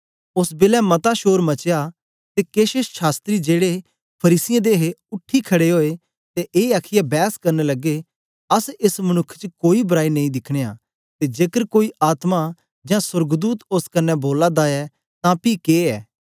ओस बेलै मता शोर मचया ते केछ शास्त्री जेड़े फरीसियें दे हे उठी खड़े ओए ते ए आखीयै बैस करन लगे अस एस मनुक्ख च कोई बराई नेई दिखनयां ते जेकर कोई आत्मा जां सोर्गदूत ओस कन्ने बोला दा ऐ तां पी के ऐ